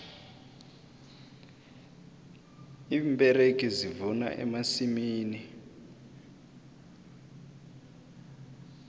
iimberegi zivuna emasimini